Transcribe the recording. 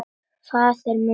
Faðir minn var þá sóttur.